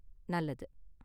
நல்லது.